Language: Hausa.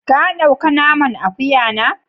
Ka dau ka naman Akuya na?